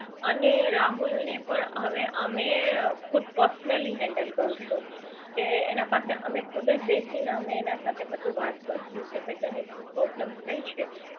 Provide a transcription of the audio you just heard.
અને રાહુલ ને પણ અમે હવે ખુદ personally handle કરીશું કે એના પાસે અમે ખુદ જ બેસીને અને અમે એના સાથે બધું વાત કરશું કે ભાઈ તને શું problem થઇ છે